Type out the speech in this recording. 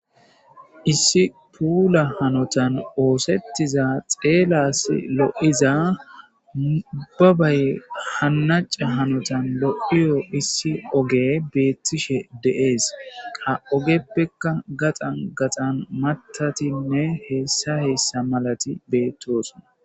Issi puula hanotan oosettiza xeelas lo'iza ubbabaye hannaca hanotan lo'iyo issi oge beettishshe de'ees qa ogeppeka gaxan gaxan matatinne heessa hessa malati beettoosoona